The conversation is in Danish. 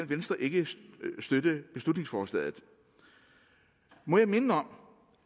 venstre ikke støtte beslutningsforslaget må jeg minde om